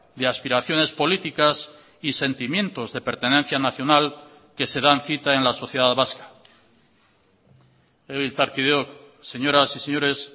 de aspiraciones políticas y sentimientos de pertenencia nacional que se dan cita en la sociedad vasca legebiltzarkideok señoras y señores